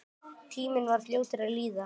Tíminn var fljótur að líða.